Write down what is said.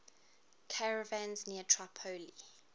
caravans near tripoli